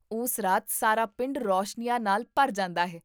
ਉਸ ਰਾਤ ਸਾਰਾ ਪਿੰਡ ਰੌਸ਼ਨੀਆਂ ਨਾਲ ਭਰ ਜਾਂਦਾ ਹੈ